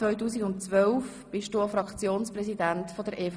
Von 2010–2012 warst du Fraktionspräsident der EVP.